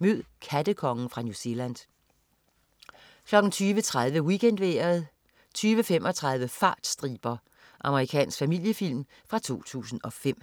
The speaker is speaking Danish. Mød "kattekongen" fra New Zealand 20.30 WeekendVejret 20.35 Fartstriber. Amerikansk familiefilm fra 2005